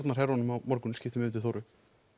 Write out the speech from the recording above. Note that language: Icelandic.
á morgun skiptum yfir til Þóru